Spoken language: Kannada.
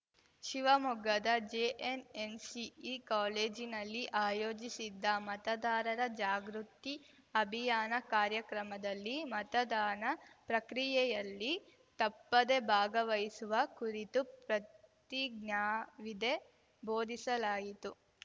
ಶಿವಮೊಗ್ಗದ ಜೆಎನ್‌ಎನ್‌ಸಿಇ ಕಾಲೇಜಿನಲ್ಲಿ ಆಯೋಜಿಸಿದ್ದ ಮತದಾರರ ಜಾಗೃತಿ ಅಭಿಯಾನ ಕಾರ್ಯಕ್ರಮದಲ್ಲಿ ಮತದಾನ ಪ್ರಕ್ರಿಯೆಯಲ್ಲಿ ತಪ್ಪದೆ ಭಾಗವಹಿಸುವ ಕುರಿತು ಪ್ರತಿಜ್ಞಾವಿದೆ ಬೋಧಿಸಲಾಯಿತು